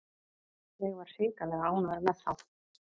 Ég var hrikalega ánægður með þá.